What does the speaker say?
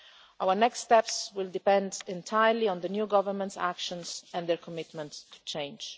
Our next steps will depend entirely on the new Government's actions and its commitment to change.